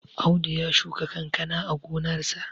Audu ya shuka kankana a gonarsa